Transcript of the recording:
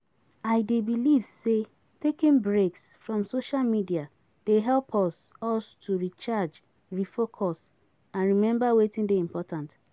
I dey believe say taking breaks from social media dey help us us to recharge, refocus and remember wetin dey important.